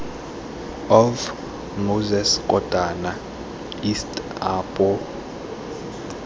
of moses kotane east apo